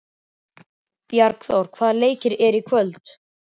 Bjargþór, hvaða leikir eru í kvöld?